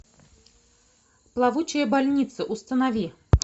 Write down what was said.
плавучая больница установи